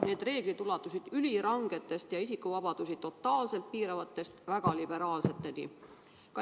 Need reeglid ulatusid ülirangetest ja isikuvabadusi totaalselt piiravatest nõuetest väga liberaalseteni.